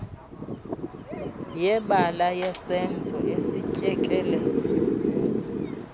yebala yesenzo esityekele